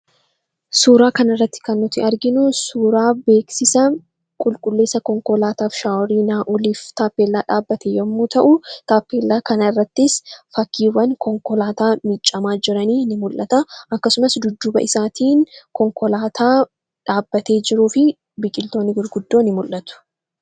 Suuraa kana irratti kan nuti arginu suuraa beeksisa Qulqulleessa Konkolaataa fi Shaaworii Naa'oliif teeppellaa dhaabbate yemmuu ta'u, taappellaa kana irrattis fakkiiwwan konkolaataa miiccamaa jiranii ni mul'ata. Akkasumas dudduuba isaatiin konkolaataa dhaabbatee jiruu fi biqiltoonni biroon ni mul'atu.